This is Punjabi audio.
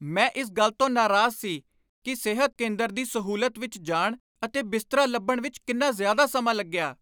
ਮੈਂ ਇਸ ਗੱਲ ਤੋਂ ਨਰਾਜ਼ ਸੀ ਕਿ ਸਿਹਤ ਕੇਂਦਰ ਦੀ ਸਹੂਲਤ ਵਿੱਚ ਜਾਣ ਅਤੇ ਬਿਸਤਰਾ ਲੱਭਣ ਵਿੱਚ ਕਿੰਨਾ ਜ਼ਿਆਦਾ ਸਮਾਂ ਲੱਗਿਆ।